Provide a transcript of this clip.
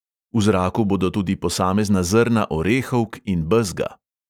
V zraku bodo tudi posamezna zrna orehovk in bezga.